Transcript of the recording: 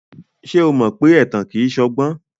Ṣé o mọ pé ẹ̀tàn kìí ṣọgbọ́n?